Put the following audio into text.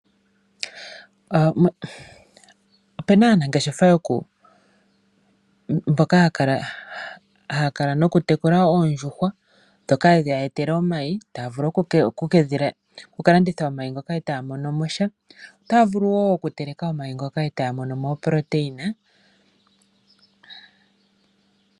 Opu na aanangeshefa mboka haya tekula oondjuhwa ndhoka hadhi ya etele omayi, taya vulu okulanditha omayi ngoka e taya mono mo sha. otaya vulu wo okuteleka omayi ngoka e taya mono mo oproteina.